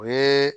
O ye